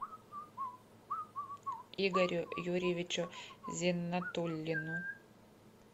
игорю юрьевичу зиннатуллину